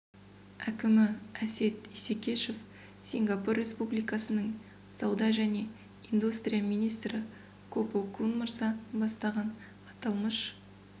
әкімі әсет исекешев сингапур республикасының сауда және индустрия министрі ко по кун мырза бастаған аталмыш